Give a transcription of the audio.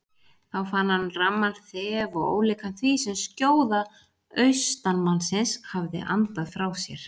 Þá fann hann ramman þef og ólíkan því sem skjóða austanmannsins hafði andað frá sér.